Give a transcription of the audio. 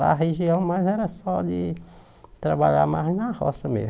Lá a região, mas era só de trabalhar mais na roça mesmo.